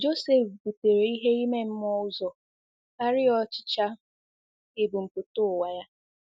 Josef butere ihe ime mmụọ ụzọ karịa ọchịchọ ebumpụta ụwa ya.